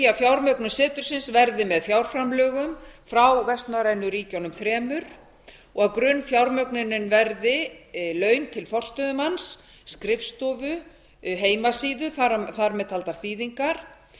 að fjármögnun setursins verði með fjárframlögum frá vestnorrænu ríkjunum þremur og grunnfjármögnun verði laun til forstöðumanns skrifstofu heimasíðu þar með taldar þýðingar